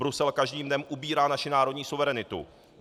Brusel každým dnem ubírá naši národní suverenitu.